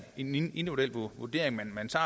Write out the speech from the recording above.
individuel vurdering